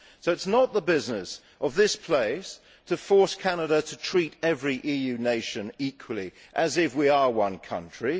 So it is not the business of this place to force Canada to treat every EU nation equally, as if we were one country.